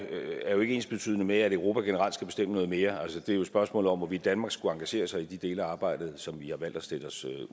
jo ikke er ensbetydende med at europa generelt skal bestemme noget mere altså det er jo et spørgsmål om hvorvidt danmark skulle engagere sig i de dele af arbejdet som vi har valgt at stille os